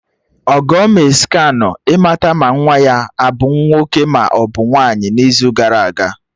Ọgọ mee scanụ ịmata ma nwa ya abụ nwoke maọbụ nwaanyị n'izu gara aga